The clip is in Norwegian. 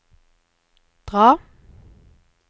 dra